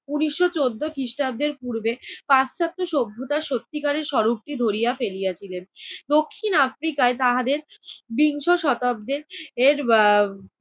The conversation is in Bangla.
উনিশশো চৌদ্দ খ্রিস্টাব্দের পূর্বে পাশ্চাত্য সভ্যতার সত্যিকারের স্বরূপটি ধরিয়া ফেলিয়াছিলেন। দক্ষিণ আফ্রিকায় তাহাদের বিংশ শতাব্দীর এর এর